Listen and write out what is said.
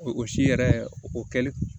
O si yɛrɛ o kɛli